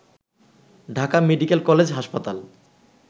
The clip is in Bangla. ঢাকা মেডিকেল কলেজ হাসপাতাল